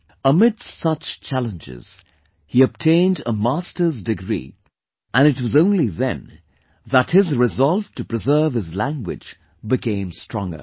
Amidst such challenges, he obtained a Masters degree and it was only then that his resolve to preserve his language became stronger